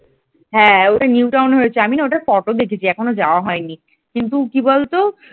হ্যাঁ ওটা নিউটাউনে হয়েছে আমি না ওটার ফটো দেখেছি এখনও যাওয়া হয়নি। কিন্তু কি বলতো